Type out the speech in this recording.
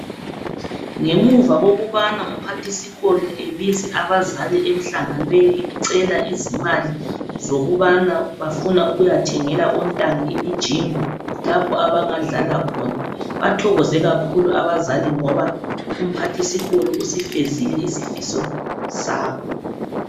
Ngemuva kokubana umphathisikolo ebize abazali emhlanganweni ecela izimali zokuba bafuna ukuyathngela ontanga imijingo lapho abadlala khona. Bathokoze kakhulu abazali njalo umphathisikolo usifezile isifiso sabo.